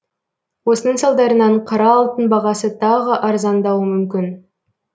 осының салдарынан қара алтын бағасы тағы арзандауы мүмкін